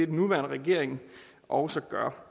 den nuværende regering også gør